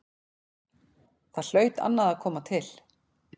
Þar hlaut annað að koma til.